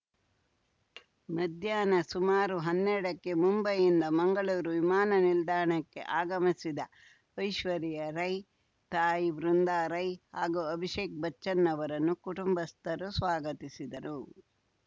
ಮಧ್ಯಾಹ್ನ ಸುಮಾರು ಹನ್ನೆರಡಕ್ಕೆ ಮುಂಬೈನಿಂದ ಮಂಗಳೂರು ವಿಮಾನ ನಿಲ್ದಾಣಕ್ಕೆ ಆಗಮಿಸಿದ ಐಶ್ವರ್ಯಾ ರೈ ತಾಯಿ ವೃಂದಾ ರೈ ಹಾಗೂ ಅಭಿಷೇಕ್‌ ಬಚ್ಚನ್‌ ಅವರನ್ನು ಕುಟುಂಬಸ್ಥರು ಸ್ವಾಗತಿಸಿದರು